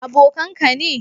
Abokan ka ne?